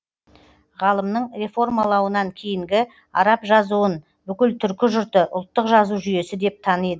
ғалымның реформалауынан кейінгі араб жазуын бүкіл түркі жұрты ұлттық жазу жүйесі деп таниды